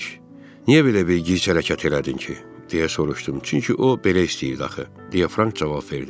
Niyə belə bir gic hərəkət elədin ki, deyə soruşdum, çünki o, belə istəyirdi axı, deyə Frank cavab verdi.